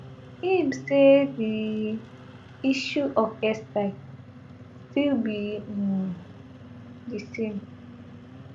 im say di issue of airstrike still be um di same